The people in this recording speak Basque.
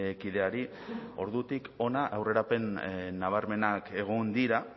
kideari ordutik hona aurrerapen nabarmenak egon dira